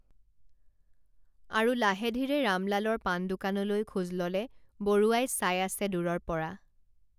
আৰু লাহেধীৰে ৰামলালৰ পানদোকানলৈ খোজ ললে বৰুৱাই চাই আছে দূৰৰপৰা